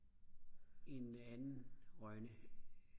en anden Rønne